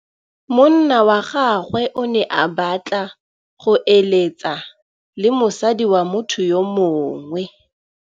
Monna wa gagwe o ne a batla go êlêtsa le mosadi wa motho yo mongwe.